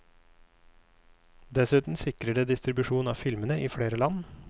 Dessuten sikrer det distribusjon av filmene i flere land.